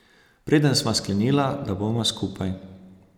Preden sva sklenila, da bova skupaj.